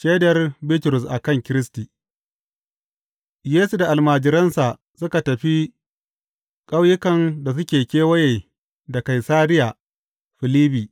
Shaidar Bitrus a kan Kiristi Yesu da almajiransa suka tafi ƙauyukan da suke kewaye da Kaisariya Filibbi.